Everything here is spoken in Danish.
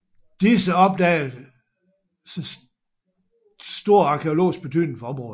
Disse opdagelser stor arkæologisk betydning for området